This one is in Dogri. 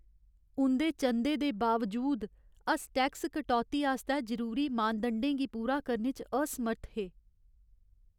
उं'दे चंदे दे बावजूद, अस टैक्स कटौती आस्तै जरूरी मानदंडें गी पूरा करने च असमर्थ हे।